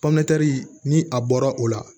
pɔmɛntɛri ni a bɔra o la